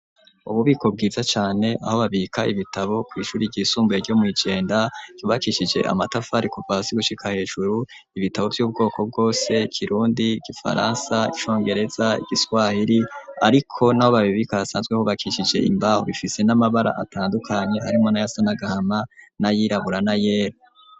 Ububiko bwiza cane aho babika ibitabo kw'ishuri ryisumbuye ryo mw'ijenda ryubakishije amatafa rikubasi gushika hejuru ibitabo vy'ubwoko bwose kirundi gifaransa icongereza igiswahiri ariko naho babibika asanzweho bakishije imbaho bifise n'amabara atandukanye arimo nayasanagahama n'ayirabura na yeru.